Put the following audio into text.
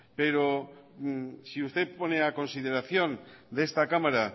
pero si usted pone a consideración de esta cámara